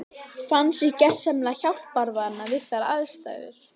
Fann sig gersamlega hjálparvana við þær aðstæður.